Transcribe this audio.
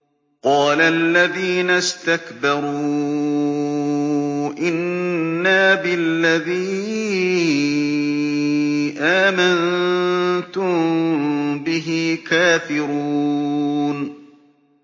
قَالَ الَّذِينَ اسْتَكْبَرُوا إِنَّا بِالَّذِي آمَنتُم بِهِ كَافِرُونَ